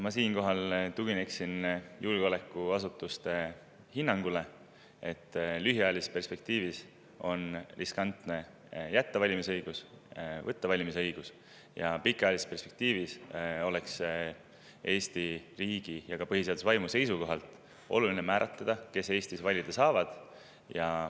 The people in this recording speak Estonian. Ma siinkohal tugineks julgeolekuasutuste hinnangule, et lühiajalises perspektiivis on riskantne nii jätta valimisõigus kui ka võtta valimisõigus, aga pikaajalises perspektiivis oleks Eesti riigi ja ka põhiseaduse vaimu seisukohalt oluline määratleda, kes Eestis valida saavad.